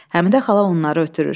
Həmidə xala onları ötürür.